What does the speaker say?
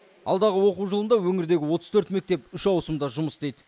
алдағы оқу жылында өңірдегі отыз төрт мектеп үш ауысымда жұмыс істейді